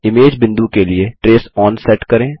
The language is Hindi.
इमेज बिंदु के लिए ट्रेस ओन सेट करें